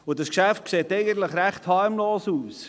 Dieses Geschäft sieht eigentlich ziemlich harmlos aus.